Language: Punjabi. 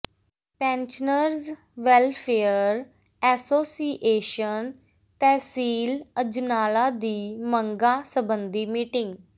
pensioners welfare association tehsil Ajnala ਦੀ ਮੰਗਾਂ ਸਬੰਧੀ ਮੀਟਿੰਗ